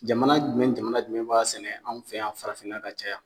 Jamana jumɛn ni jamana jumɛn b'a sɛnɛ an fɛ yan farafinna ka caya